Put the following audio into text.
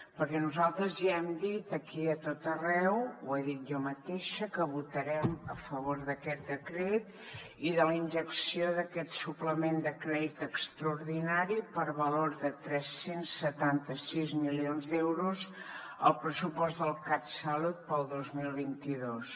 perquè nosaltres ja hem dit aquí i a tot arreu ho he dit jo mateixa que votarem a favor d’aquest decret i de la injecció d’aquest suplement de crèdit extraordinari per valor de tres cents i setanta sis milions d’euros al pressupost del catsalut per al dos mil vint dos